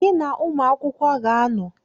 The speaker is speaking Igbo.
Gị na-ụmụ akwụkwọ ga-anọ